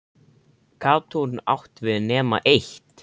Gat hún átt við nema eitt?